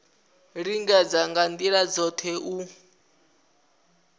lingedza nga ndila dzothe u